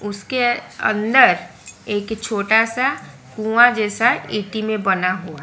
उसके अंदर एक छोटा सा कुआं जैसा ईटी में बना हुआ --